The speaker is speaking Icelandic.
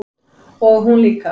Og hún líka.